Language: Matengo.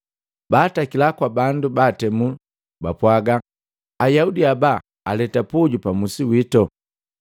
Baatakila kwaka bandu baatemu bapwaga, “Ayaudi haba aleta puju pa musi wito.